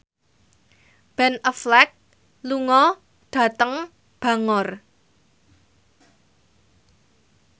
Ben Affleck lunga dhateng Bangor